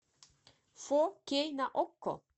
фо кей на окко